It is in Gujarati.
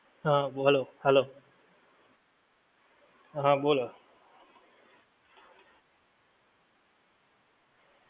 હા બોલો hello હા બોલો